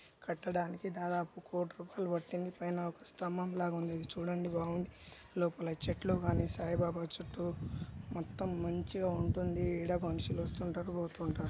కట్టడానికి దాదాపు కోటి రూపాయలు పట్టింది పైనా ఒక స్తంబం లాగా ఉంది ఇది చూడంది బాగుండి లోపల చెట్లు గని సాయి బాబా చెట్లు మొత్తం మంచిగా ఉంటుంది ఇడ మనషులు వస్తుంటరు పోతుటరు.